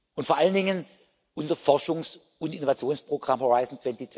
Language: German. und vor allen Dingen unser Forschungs und Innovationsprogramm Horizont